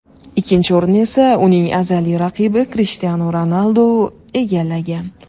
Ikkinchi o‘rinni esa, uning azaliy raqibi Krishtianu Ronaldu egallagan.